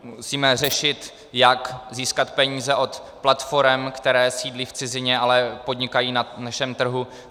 Musíme řešit, jak získat peníze od platforem, které sídlí v cizině, ale podnikají na našem trhu.